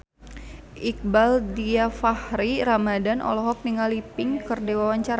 Iqbaal Dhiafakhri Ramadhan olohok ningali Pink keur diwawancara